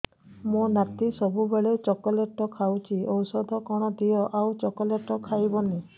ମୋ ନାତି ସବୁବେଳେ ଚକଲେଟ ଖାଉଛି ଔଷଧ କଣ ଦିଅ ଆଉ ଚକଲେଟ ଖାଇବନି